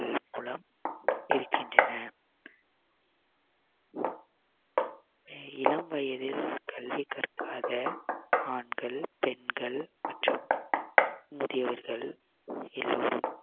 மூலம் இருக்கின்றன இளம் வயதில் கல்வி கற்காத ஆண்கள் பெண்கள் மற்றும் முதியோர்கள் ஆகியோர்